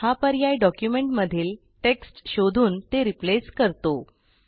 हे संपूर्ण डॉक्युमेंटमध्ये टेक्स्ट शोधते आणिकिंवा त्या टेक्स्टला रिप्लेस करते